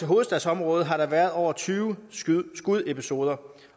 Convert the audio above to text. hovedstadsområdet har der været over tyve skudepisoder